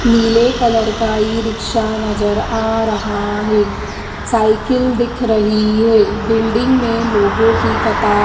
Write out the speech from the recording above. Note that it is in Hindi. नीले कलर का ई रिक्शा नज़र आ रहा है साइकिल दिख रही है बिल्डिंग में लोगों की कता --